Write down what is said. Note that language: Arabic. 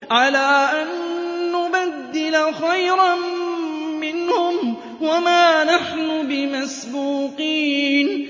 عَلَىٰ أَن نُّبَدِّلَ خَيْرًا مِّنْهُمْ وَمَا نَحْنُ بِمَسْبُوقِينَ